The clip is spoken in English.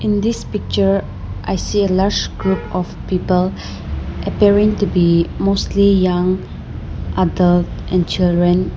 In this picture I see a large group of people appearing to be mostly young adult and children.